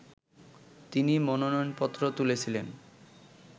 তিনি মনোনয়নপত্র তুলেছিলেন